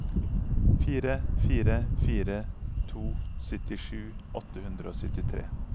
fire fire fire to syttisju åtte hundre og syttitre